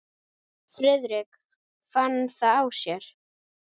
Friðrik fann það á sér.